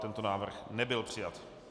Tento návrh nebyl přijat.